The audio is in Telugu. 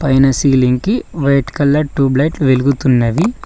పైన సీలింగ్ కి వైట్ కలర్ ట్యూబ్ లైట్ వెలుగుతున్నది.